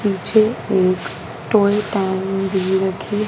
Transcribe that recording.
पीछे एक टोल टैंक भी रखी--